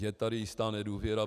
Je tady jistá nedůvěra.